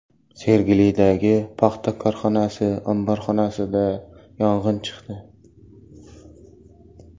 Sergelidagi paxta korxonasi omborxonasida yong‘in chiqdi .